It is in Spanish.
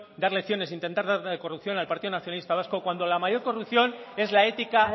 dar lecciones intentar dar lecciones de corrupción al partido nacionalista vasco cuando la mayor corrupción es la ética